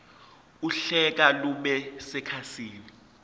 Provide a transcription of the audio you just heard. uhlaka lube sekhasini